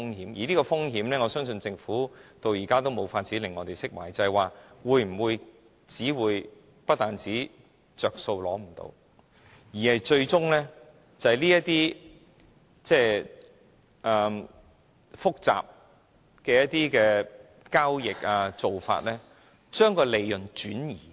對於這風險，我相信政府至今也無法令我們釋懷，因為很可能會令大家無法從中得益，最終更會因着複雜的交易或做法而將利潤轉移。